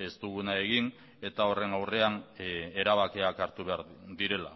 ez duguna egin eta horren aurrean erabakiak hartu behar direla